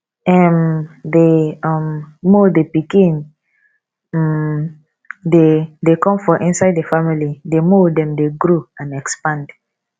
um the um more the pikin um de de come for inside the family the more dem de grow and expand